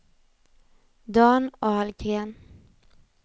Dan Ahlgren